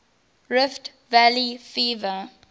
rift valley fever